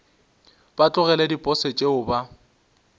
ba tlogele diposo tšeo ba